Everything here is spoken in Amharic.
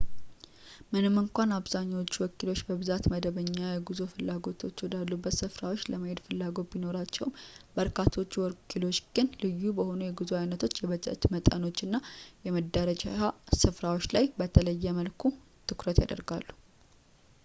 ምንም እንኳን አብዛኛዎቹ ወኪሎች በብዛት መደበኛ የጉዞ ፍላጎቶች ወዳሉበት ስፍራዎች ለመሄድ ፍላጎት ቢኖራቸውም በርካታዎቹ ወኪሎች ግን ልዩ በሆኑ የጉዞ አይነቶች የበጀት መጠኖችና የመዳረሻ ስፍራዎች ላይ በተለየ መልኩ ትኩረት ያደርጋሉ